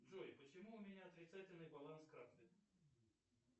джой почему у меня отрицательный баланс карты